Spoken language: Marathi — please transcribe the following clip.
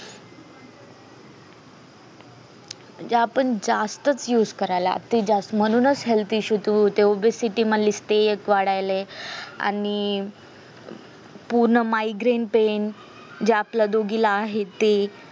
म्हणजे आपण जास्तच असे करायला लागलोय म्हणूनच health issues ते city मध्ये वाढायलय आणि पुनः migraine pain जे आपल्या दोघीला आहे ते